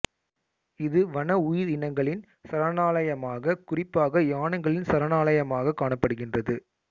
இது வன உயிரினங்களின் சரணாலயமாக குறிப்பாக யானைகளின் சரணாலயமாக காணப்படுகின்றது